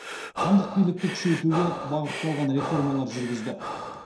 хандық билікті күшейтуге бағытталған реформалар жүргізді